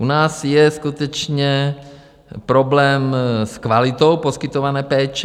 U nás je skutečně problém s kvalitou poskytované péče.